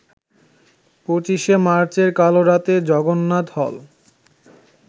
২৫শে মার্চের কালরাতে জগন্নাথ হল